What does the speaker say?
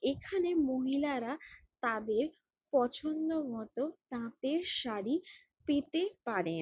এখানে মহিলারা তাদের পছন্দ মত তাঁতের শাড়ি পেতে পারে ।